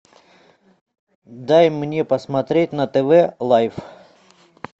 дай мне посмотреть на тв лайф